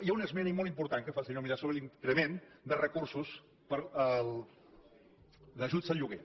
hi ha una esmena molt important que fa el senyor milà sobre l’increment de recursos per a ajuts al lloguer